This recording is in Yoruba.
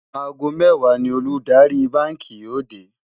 àgó méwàá ní Olùdarí bánkì wà yó dè